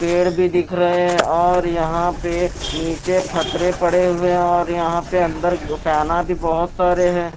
पेड़ भी दिख रहे हैं और यहां पे नीचे फतरे पड़े हुए हैं और यहां पे अंदर फैना भी बहुत सारे हैं।